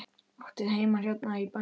Áttu heima hérna í bænum?